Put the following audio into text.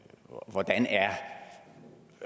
hvordan er